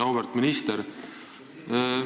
Auväärt minister!